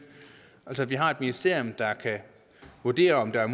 altså at vi har et ministerium der kan vurdere om der er